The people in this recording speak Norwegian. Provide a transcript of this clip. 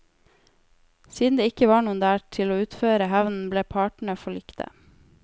Siden det ikke var noen der til å utføre hevnen ble partene forlikte.